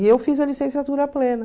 E eu fiz a licenciatura plena.